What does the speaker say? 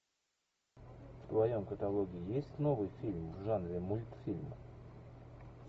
в твоем каталоге есть новый фильм в жанре мультфильм